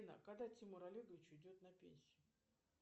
афина когда тимур олегович уйдет на пенсию